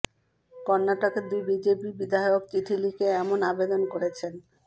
কর্নাটকের দুই বিজেপি বিধায়ক চিঠি লিখে এমন আবেদন করেছেন